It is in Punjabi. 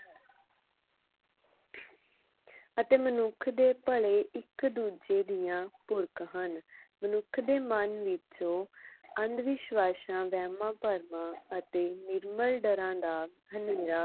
ਅਤੇ ਮਨੁੱਖ ਦੇ ਭਲੇ ਇਕ ਦੂਜੇ ਦੀਆ ਪੂਰਕ ਹਨ ਮਨੁੱਖ ਦੇ ਮਨ ਵਿੱਚੋ ਅੰਧਵਿਸ਼ਵਾਸਾਂ ਵਹਿਮਾਂ ਭਰਮਾਂ ਅਤੇ ਨਿਰਮਲ ਡਰਾ ਦਾ ਹਨ੍ਹੇਰਾ